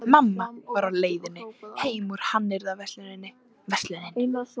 Össur-Mamma var á leiðinni heim úr hannyrðaversluninni, Verslunin